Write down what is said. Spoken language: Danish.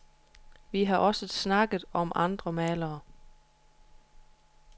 Vi har også snakket om andre malere.